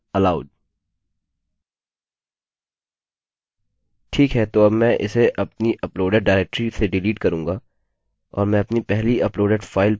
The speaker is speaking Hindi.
ठीक है तो मैं अब इसे अपनी अपलोडेड डाइरेक्टरी से डिलीट करूँगा और मैं अपनी पहली अपलोडेड फाइल पर वापस आऊँगा